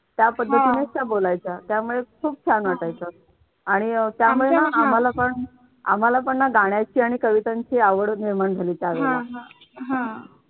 त्या पद्धतीने त्या बोलायच्या त्यामुळे खूप छान वाटायचं. आणि अह त्यामुळे आम्हाला पण ना गाण्याची आणि कवितांची आवड निर्माण झाली त्या वेळेला